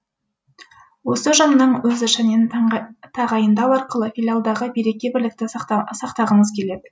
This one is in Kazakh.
осы ұжымның өз ішінен тағайындау арқылы филиалдағы береке бірлікті сақтағымыз келеді